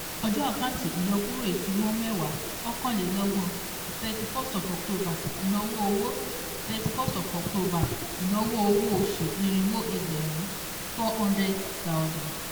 Ojo àkántì ìyọkúrò ìfimọ́ mẹ́wàá /ọ̀kanlélọ́gbọ̀n ( ten / thirty one ) ìnáwó owó ( ten / thirty one ) ìnáwó owó oṣù irínwó ẹgbẹ̀rún ( four hundred thousand ).